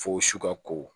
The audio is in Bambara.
Fo su ka ko